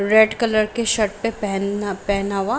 Red colour के shirt पे पहनपहना हुआ।